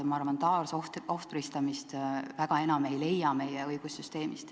Ma arvan, et taasohvristamist väga enam ei ole meie õigussüsteemis.